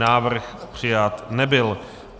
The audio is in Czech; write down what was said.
Návrh přijat nebyl.